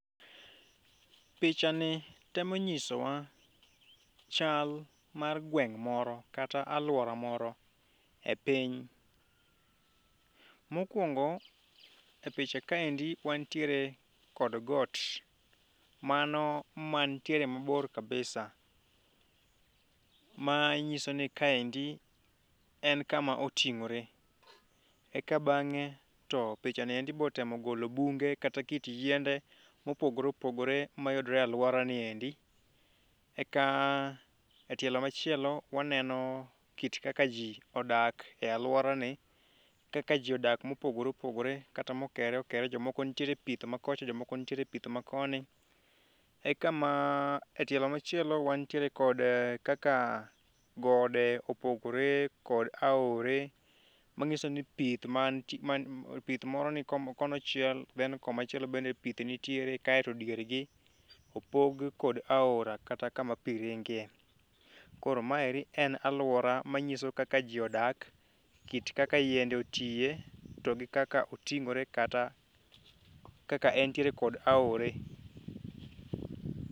Picha ni temo nyiso wa chal mar gweng' moro kata aluora moro e piny. Mokwongo, e picha kaendi wantiere kod got, mano mantie mabor kabisa, ma nyiso ni ka endi en kama oting'ore. Eka bang'e to pichani endi to pichani be otemo golo bunge kata kit yiende mopogore opogore, ma yudore e aluorani endi, eka etielo machielo, waneno kaka ji odak e aluorani, kaka ji odak mopogore opogore, kata mokere okere, jomoko nitie pith makocha jomoko nitiere e pith makoni, eka etielo machielo wan tie kod kaka gode opogore kod aore nag'iso ni pith moro ni konchiel then komachielo be pith nitie, kae to diergi opg kod aora kata kama pi ringe. Koro ma en aluora manyiso kaka ji odak, kit kaka yiende otie, to gi kaka oting'ore kata kaka entiere kod aore.